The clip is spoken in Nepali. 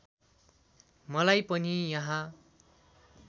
मलाई पनि यहाँ